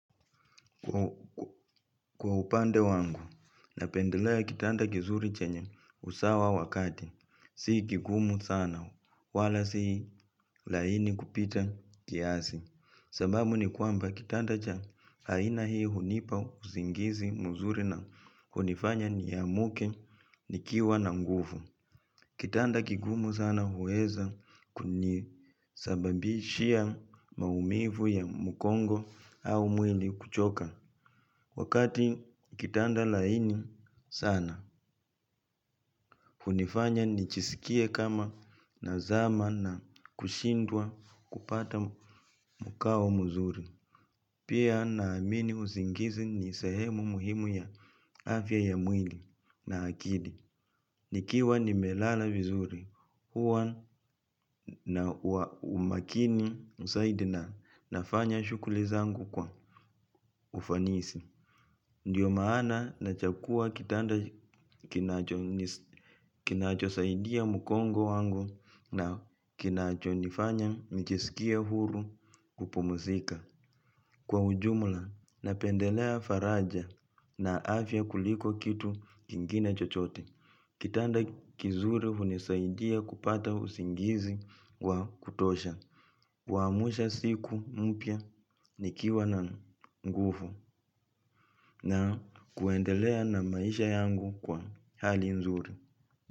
Kwa upande wangu, napendelea kitanda kizuri chenye usawa wa kati, si kigumu sana, wala si laini kupita kiasi, sababu ni kwamba kitanda cha haina hii hunipa usingizi mzuri na hunifanya niamke nikiwa na nguvu. Kitanda kigumu sana huweza kunisababishia maumivu ya mugongo au mwili kuchoka. Wakati kitanda laini sana, hunifanya nijisikie kama nazama na kushindwa kupata mukao muzuri. Pia naamini usingizi ni sahemu muhimu ya afya ya mwili na akili. Nikiwa nimelala vizuri huwa na umakini zaidi na nafanya shughuli zangu kwa ufanisi. Ndiyo maana nachagua kitanda kimacho kinachosaidia mgongo wangu na kinachonifanya nijisikie huru kupumuzika. Kwa ujumula napendelea faraja na afya kuliko kitu kingine chochote kitanda kizuri hunisaidia kupata usingizi kwa kutosha. Waamsha siku mpya nikiwa na nguvu na kuendelea na maisha yangu kwa hali nzuri.